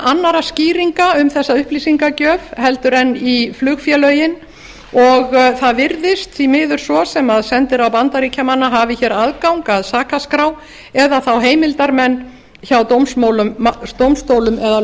annarra skýringa um þessa upplýsingagjöf heldur en í flugfélögin og það virðist því miður svo sem sendiráð bandaríkjamanna hafi aðgang að sakaskrá eða þá heimildarmenn hjá dómstólum eða